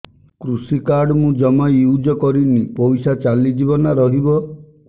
କୃଷି କାର୍ଡ ମୁଁ ଜମା ୟୁଜ଼ କରିନି ପଇସା ଚାଲିଯିବ ନା ରହିବ